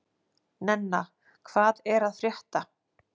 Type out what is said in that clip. Nenna, hvað er að frétta?